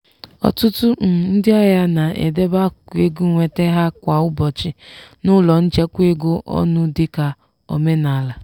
ọtụtụ um ndị ahịa na-edebe akụkụ ego nweta ha kwa ụbọchị n’ụlọ nchekwa ego ọnụ dịka omenala.